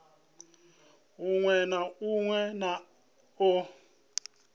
u ṱun ḓwa na u